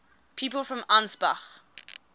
people from ansbach